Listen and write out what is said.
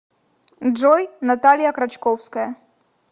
джой наталья крачковская